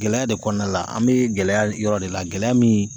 Gɛlɛya de kɔnɔna la , an bɛ gɛlɛya yɔrɔ de la, gɛlɛya min